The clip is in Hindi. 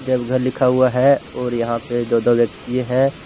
देवघर लिखा हुआ है और यहां पे दो दो व्यक्ति हैं।